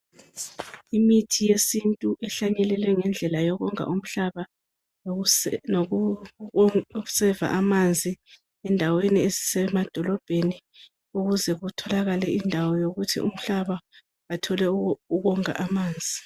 Imithi yesintu ehlanyelelwe ngendlela yokonga umhlaba lokuseva amanzi endaweni ezisemadolobheni ukuze kutholakale indawo yokuthi umhlaba uthole ukonga amanzi.